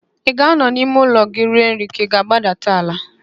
Ị ga-anọ n'ime ụlọ gị rie nri ka ị ga-agbadata ala?